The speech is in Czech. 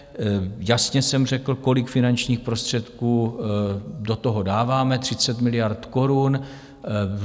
Jasně jsem řekl, kolik finančních prostředků do toho dáváme, 30 miliard korun.